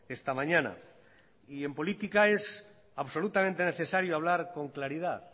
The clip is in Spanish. esta mañana y en política es absolutamente necesario hablar con claridad